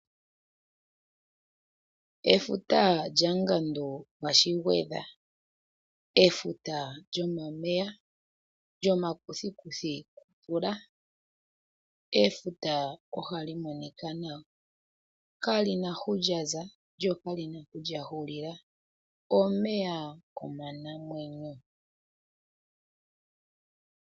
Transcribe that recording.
Efuta lyaNgandu gwaShigwedha, efuta lyomameya, lyomakuthikuthi gomvula, efuta ohali monika nawa, kali na hu lyaza lyokali na hu lyahulila, omeya omanamwenyo.